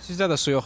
Sizdə də su yoxdur?